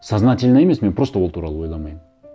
сознательно емес мен просто ол туралы ойламаймын